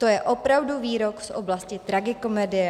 To je opravdu výrok z oblasti tragikomedie.